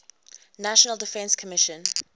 national defense commission